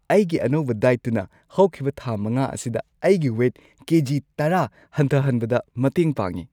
ꯑꯩꯒꯤ ꯑꯅꯧꯕ ꯗꯥꯏꯠꯇꯨꯅ ꯍꯧꯈꯤꯕ ꯊꯥ ꯵ ꯑꯁꯤꯗ ꯑꯩꯒꯤ ꯋꯦꯠ ꯀꯦꯖꯤ ꯱꯰ ꯍꯟꯊꯍꯟꯕꯗ ꯃꯇꯦꯡ ꯄꯥꯡꯉꯦ꯫